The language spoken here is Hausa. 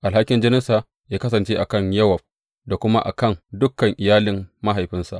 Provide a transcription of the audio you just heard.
Alhakin jininsa yă kasance a kan Yowab da kuma a kan dukan iyalin mahaifinsa!